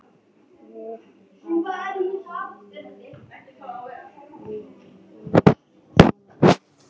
Lið Asíu lítur svona út